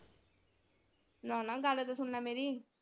ਨਾ ਨਾ ਗੱਲ ਤਾਂ ਸੁਣ ਲੈ ਮੇਰੀ।